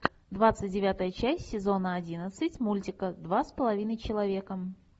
двадцать девятая часть сезона одиннадцать мультика два с половиной человека